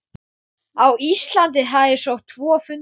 Þau eru venjulega lítil um sig og oft djúp.